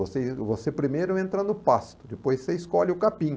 Você em você primeiro entra no pasto, depois você escolhe o capim.